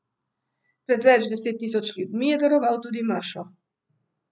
Pred več deset tisoč ljudmi je daroval tudi mašo.